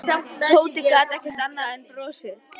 Tóti gat ekki annað en brosað.